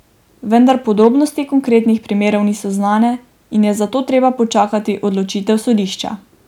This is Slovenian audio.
Vendar podrobnosti konkretnih primerov niso znane in je zato treba počakati odločitev sodišča.